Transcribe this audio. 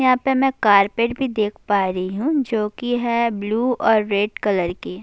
یہاں پر میں کارپیٹ بھی دیکھ پا رہی ہوں جو کہ ہے بلو اور ریڈ کلر کی